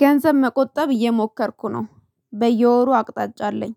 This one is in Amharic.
ገንዘብ መቆጠብ እየሞከርኩ ነው በየወሩ አቅጣጫ አለኝ